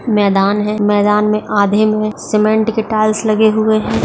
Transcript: मैदान है मैदान में आधे में सीमेंट के टाइल्स लगे हुए हैं ।